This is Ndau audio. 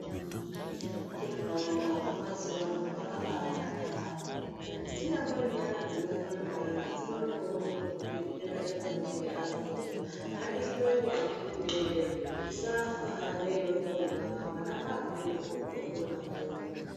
Kuhloiwa kwemazuwa ano kwakaba naka yambo dzibari nyara dzino panda zvino toonekwa kuti chitenda chakona chiri apo ngatihloiwe akiti woye tisafa neino ponwa hwana hwamweni huku toponawo.